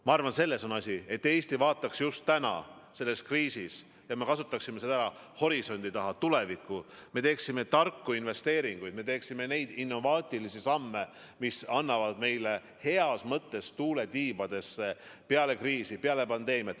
Ma arvan, et selles on asi, et Eesti vaataks just praegu selles kriisis – et me kasutaksime seda niimoodi ära – horisondi taha, tulevikku, et me teeksime tarku investeeringuid, et me teeksime innovaatilisi samme, mis annavad meile peale kriisi, peale pandeemiat heas mõttes tuule tiibadesse.